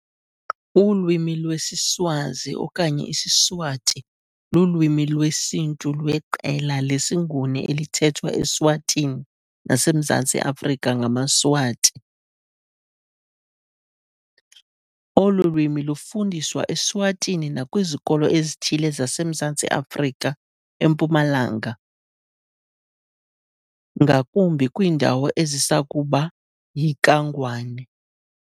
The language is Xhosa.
Ulwimi lwesiSwazi okanye isiSwati lulwimi lwesiNtu lweqela lesiNguni elithethwa eSwatini naseMzantsi Afrika ngamaSwati. Olu lwimi lufundiswa eSwatini nakwizikolo ezithile zaseMzantsi Afrika eMpumalanga, ngakumbi iindawo ezazisakuba yiKaNgwane.